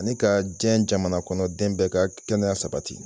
Ani ka jɛn jamana kɔnɔ den bɛɛ ka kɛnɛya sabati.